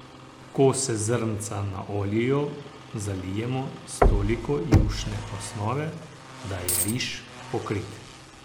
Ko se zrnca naoljijo, zalijemo s toliko jušne osnove, da je riž pokrit.